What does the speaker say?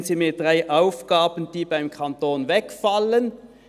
«Nennen Sie mir drei Aufgaben, die beim Kanton wegfallen.